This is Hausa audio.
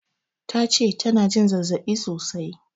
Tace tana jin zazzaɓi sosai